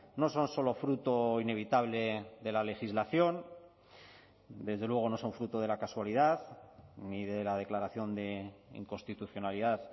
no son solo fruto inevitable de la legislación desde luego no son fruto de la casualidad ni de la declaración de inconstitucionalidad